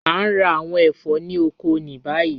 A ń rá àwọn ẹfọ̀ ni ọkọ̀ ni bayí.